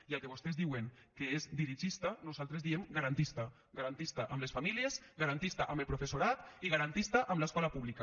i el que vostès diuen que és dirigista nosaltres en diem garantista garantista amb les famílies garantista amb el professorat i garantista amb l’escola pública